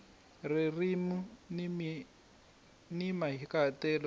ririmi ni mahikahatelo swi